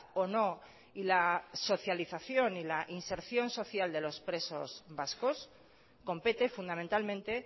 o no y la socialización y la inserción social de los presos vascos compete fundamentalmente